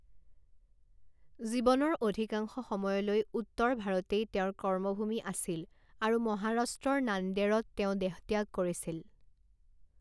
জীৱনৰ অধিকাংশ সময়লৈ উত্তৰ ভাৰতেই তেওঁৰ কৰ্মভূমি আছিল আৰু মহাৰাষ্ট্ৰৰ নাণ্ডেড়ত তেওঁ দেহত্যাগ কৰিছিল।